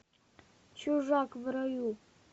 чужак в раю